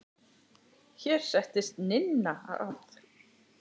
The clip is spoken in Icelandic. Hér settist Ninna að.